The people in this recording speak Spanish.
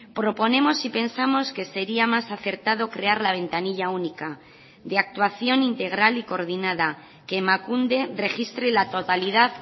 proponemos y pensamos que sería más acertado crear la ventanilla única de actuación integral y coordinada que emakunde registre la totalidad